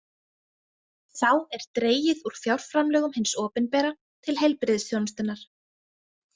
Þá er dregið úr fjárframlögum hins opinbera til heilbrigðisþjónustunnar.